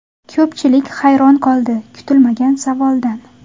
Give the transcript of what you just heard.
Ko‘pchilik hayron qoldi kutilmagan savoldan.